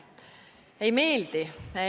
Ei meeldi.